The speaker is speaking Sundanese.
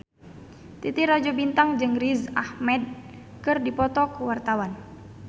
Titi Rajo Bintang jeung Riz Ahmed keur dipoto ku wartawan